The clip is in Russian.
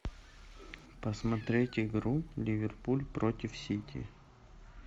посмотреть игру ливерпуль против сити